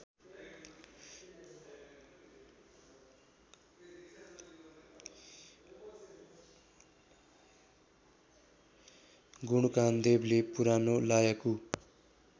गुणकामदेवले पुरानो लायकु